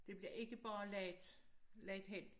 Det bliver ikke bare lagt lagt hen